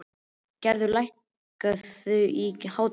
Gerðar, lækkaðu í hátalaranum.